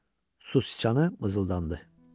Su Siçanı mızıldandı.